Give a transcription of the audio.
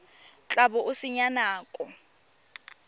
tla bo o senya nako